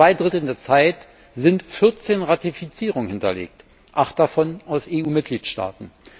Nach zwei Dritteln der Zeit sind 14 Ratifizierungen hinterlegt, acht davon aus EU Mitgliedstaaten.